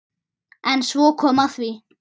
En svo kom að því.